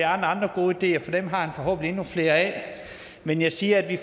andre gode ideer for dem har han forhåbentlig endnu flere af men jeg siger at vi